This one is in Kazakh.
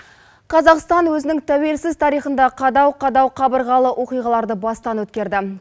қазақстан өзінің тәуелсіз тарихында қадау қадау қабырғалы оқиғаларды бастан өткерді